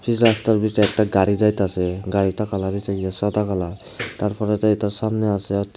সেই রাস্তার ভিতরে একটা গাড়ি যাইতাসে গাড়িটার কালার হচ্ছে ইয়ে সাদা কালার তারপরে যেইটা সামনে আসে --